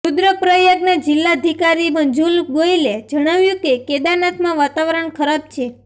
રુદ્રપ્રયાગના જિલ્લાધિકારી મંજુલ ગોયલે જણાવ્યું કે કેદારનાથમાં વાતાવરણ ખરાબ છે